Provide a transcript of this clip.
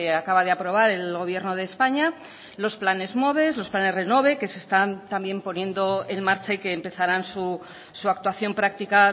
acaba de aprobar el gobierno de españa los planes moves los planes renove que se están también poniendo en marcha y que empezarán su actuación práctica